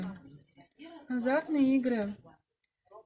азартные игры